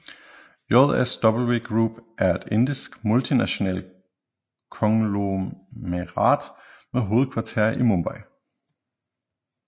JSW Group er et indisk multinationalt konglomerat med hovedkvarter i Mumbai